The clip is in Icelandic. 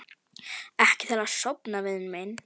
Ekki til að sofna, vinur minn.